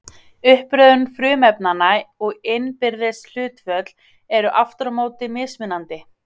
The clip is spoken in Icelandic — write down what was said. uppröðun frumefnanna og innbyrðis hlutföll eru aftur á móti mismunandi